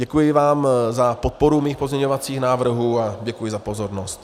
Děkuji vám za podporu mých pozměňovacích návrhů a děkuji za pozornost.